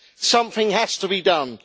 Something has to be done.